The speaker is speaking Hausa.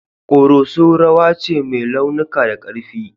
Koroso rawa ce mai launuka da karfi.